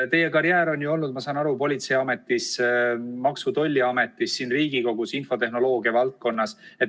Te olete töötanud, ma saan aru, politseiametis, Maksu- ja Tolliametis, siin Riigikogus infotehnoloogia valdkonnas.